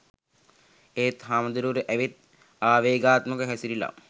ඒත් හාමුදුරුවරු ඇවිත් ආවේගාත්මකව හැසිරිලා